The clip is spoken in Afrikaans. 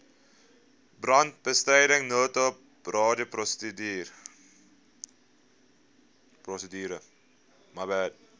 brandbestryding noodhulp radioprosedure